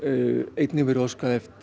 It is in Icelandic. einnig verið óskað eftir